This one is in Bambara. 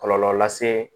Kɔlɔlɔ lase